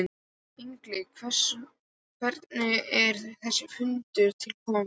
Egill hvernig er þessi fundur til kominn?